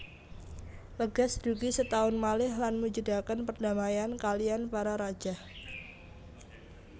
Legaz dugi setaun malih lan mujudaken perdamaian kaliyan para rajah